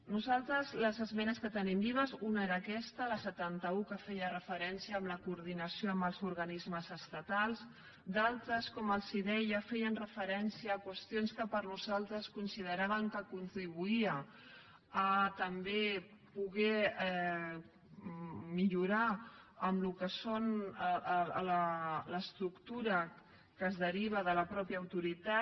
nosaltres de les esmenes que tenim vives una era aquesta la setanta un que feia referència a la coordinació amb els organismes estatals d’altres com els deia feien referència a qüestions que nosaltres consideràvem que contribuïen a també poder millorar en el que és l’estructura que es deriva de la mateixa autoritat